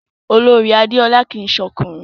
Olorì Adéọlá kìí se ọkùnrin